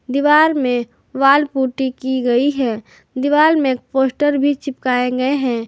दीवार में wall putty की गई है दीवाल में पोस्टर भी चिपकाए गए हैं।